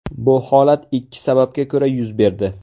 Bu holat ikki sababga ko‘ra yuz berdi.